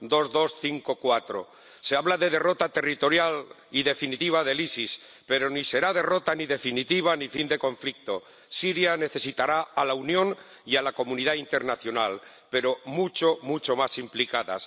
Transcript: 2254 Se habla de derrota territorial y definitiva del ISIS, pero ni será derrota, ni definitiva, ni fin de conflicto. Siria necesitará a la Unión y a la comunidad internacional, pero mucho, mucho más implicadas.